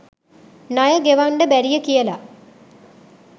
ණය ගෙවංඩ බැරිය කියලා